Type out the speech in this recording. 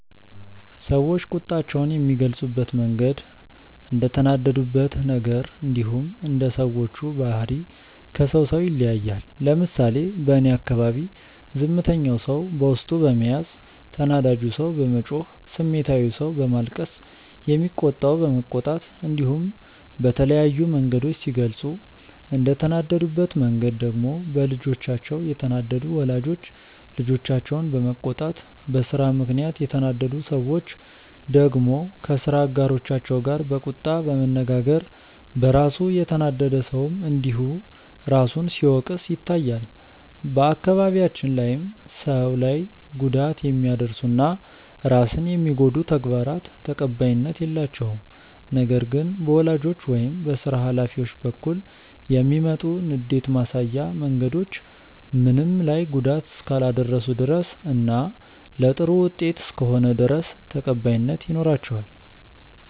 ሰዎች ቁጣቸውን የሚገልጹበት መንገድ እንደተናደዱበት ነገር እንዲሁም እንደ ሰዎቹ ባህሪ ከሰው ሰው ይለያያል። ለምሳሌ በእኔ አካባቢ ዝምተኛው ሰው በውስጡ በመያዝ፣ ተናዳጁ ሰው በመጮህ፣ ስሜታዊው ሰው በማልቀስ፣ የሚቆጣው በመቆጣት እንዲሁም በተለያዩ መንገዶች ሲገልጹ፤ እንደተናደዱበት መንገድ ደግሞ በልጆቻቸው የተናደዱ ወላጆች ልጆቻቸውን በመቆጣት፣ በስራ ምክንያት የተናደዱ ሰዎች ደግሞ ከስራ አጋሮቻቸው ጋር በቁጣ በመነጋገር፣ በራሱ የተናደደ ሰውም እንዲሁ ራሱን ሲወቅስ ይታያል። በአካባቢያችን ላይም ሰው ላይ ጉዳት የሚያደርሱ እና ራስን የሚጎዱ ተግባራት ተቀባይነት የላቸውም። ነገር ግን በወላጆች ወይም በስራ ሀላፊዎች በኩል የሚመጡ ንዴት ማሳያ መንገዶች ምንም ላይ ጉዳት እስካላደረሱ ድረስ እና ለጥሩ ውጤት እስከሆነ ድረስ ተቀባይነት ይኖራቸዋል።